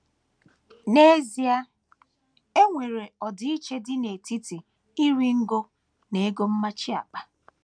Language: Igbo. N’ezie, e nwere ọdịiche dị n’etiti iri ngo na ego mmachi akpa.